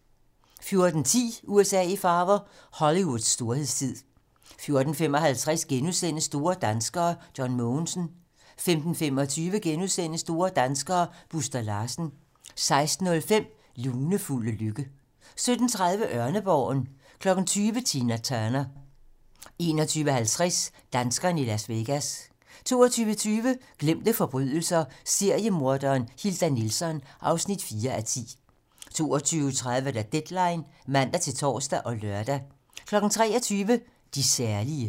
14:10: USA i farver - Hollywoods storhedstid 14:55: Store danskere: John Mogensen * 15:25: Store danskere: Buster Larsen * 16:05: Lunefulde lykke 17:30: Ørneborgen 20:00: Tina Turner 21:50: Danskerne i Las Vegas 22:20: Glemte forbrydelser - seriemorderen Hilda Nilsson (4:10) 22:30: Deadline (man-tor og lør) 23:00: De særlige